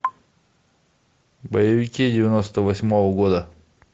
боевики девяносто восьмого года